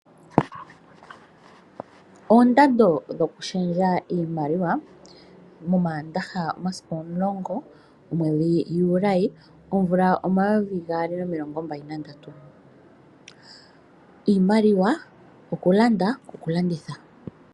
Oondando dhokushendja iimaliwa, momaandaha omasiku omulongo, momwedhi Juli, omvula omayovi gaali nomilongo mbali nandatu. Iimaliwa yokulanda nokulanditha.